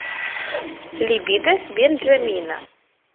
либидо бенджамина